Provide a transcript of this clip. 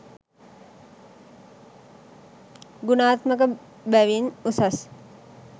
ගුණාත්මක බැවින් උසස්.